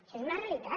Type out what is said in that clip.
això és una realitat